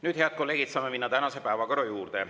Nüüd, head kolleegid, saame minna tänase päevakorra juurde.